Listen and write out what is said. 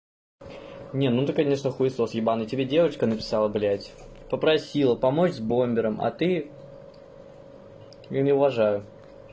не ну ты конечно хуесос ебанный тебе девочка написала блядь попросила помочь с бомбером а ты не уважаю